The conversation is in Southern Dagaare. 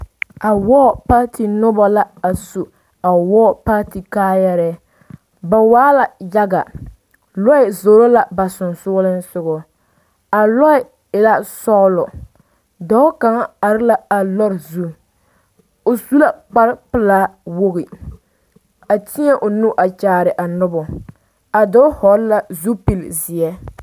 A wɔɔ paati noba la a su a wɔɔ paayi kaayɛrɛɛ ba waa la yaga lɔɛ zoro la ba sonsoŋle soga a lɔɛ e la sɔgelɔ dɔɔ kaŋa are la a lɔre zu o zu la kpar pelaa vɔgele a teɛ o nu a kyaare a noba a dɔɔ vɔgele la zupili zeɛ